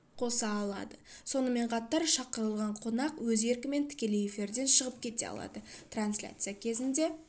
қоса алады сонымен қатар шақырылған қонақ өз еркімен тікелей эфирден шығып кете алады трансляция кезінде